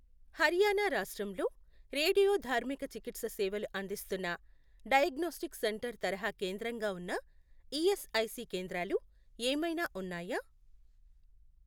హర్యాణా రాష్ట్రంలో రేడియోధార్మిక చికిత్స సేవలు అందిస్తున్న డయాగ్నోస్టిక్ సెంటర్ తరహా కేంద్రంగా ఉన్న ఈఎస్ఐసి కేంద్రాలు ఏమైనా ఉన్నాయా?